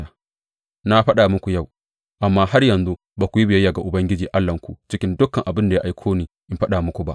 Na faɗa muku yau, amma har yanzu ba ku yi biyayya ga Ubangiji Allahnku cikin dukan abin da ya aiko ni in faɗa muku ba.